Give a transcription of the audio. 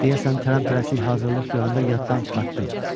Deyəsən tələmtələsik hazırlıq görəndə yaddan çıxartdım.